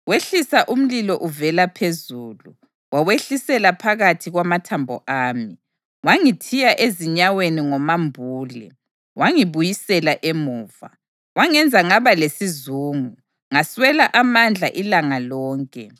Wehlisa umlilo uvela phezulu, wawehlisela phakathi kwamathambo ami. Wangithiya ezinyaweni ngomambule, wangibuyisela emuva. Wangenza ngaba lesizungu, ngaswela amandla ilanga lonke.